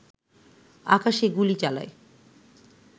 আকাশে গুলি চালায়